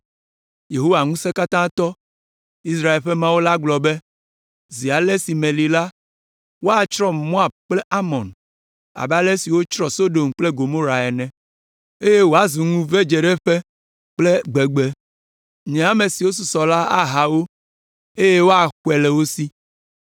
Yehowa Ŋusẽkatãtɔ, Israel ƒe Mawu la gblɔ be, Zi ale si meli la, woatsrɔ̃ Moab kple Amon abe ale si wotsrɔ̃ Sodom kple Gomora ene, eye woazu ŋuvedzeɖeƒe kple gbegbe; nye ame siwo susɔ la aha wo, eye woaxɔe le wo si.”